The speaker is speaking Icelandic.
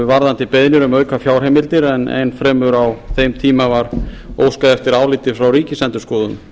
varðandi beiðnir um aukafjárheimildir enn fremur á þeim tíma var óskað eftir áliti frá ríkisendurskoðun